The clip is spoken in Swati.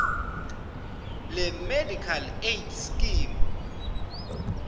lemedical aid scheme